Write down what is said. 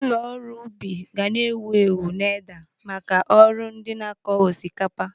Ụlọ ọrụ ubi ga na-ewu ewu n'Edda maka ọrụ ndị na-akọ osikapa.